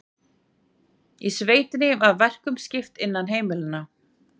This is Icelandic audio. Í sveitinni var verkum skipt innan heimila.